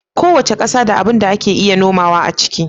Kowace ƙasa da abun da ake iya nomawa a ciki